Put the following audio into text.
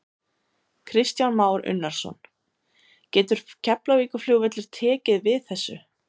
Kristján Már Unnarsson: Getur Keflavíkurflugvöllur tekið við þessu?